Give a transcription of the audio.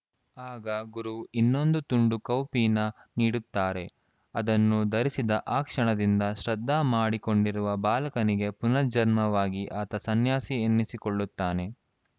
ಆಗ ಗುರು ಇನ್ನೊಂದು ತುಂಡು ಕೌಪೀನ ನೀಡುತ್ತಾರೆ ಅದನ್ನು ಧರಿಸಿದ ಆ ಕ್ಷಣದಿಂದ ಶ್ರಾದ್ಧ ಮಾಡಿಕೊಂಡಿರುವ ಬಾಲಕನಿಗೆ ಪುನರ್ಜನ್ಮವಾಗಿ ಆತ ಸನ್ಯಾಸಿ ಎನಿಸಿಕೊಳ್ಳುತ್ತಾನೆ